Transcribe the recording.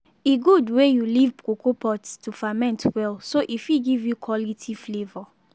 e good wey you leave cocoa pods to ferment well so e fit give you quality flavour.